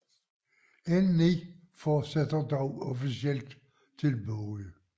N9 fortsætter dog officielt til Bogø